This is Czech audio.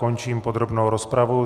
Končím podrobnou rozpravu.